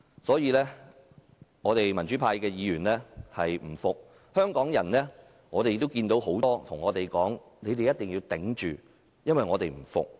所以，民主派議員不服氣，也有很多香港人叫我們撐住，因為他們也不服氣。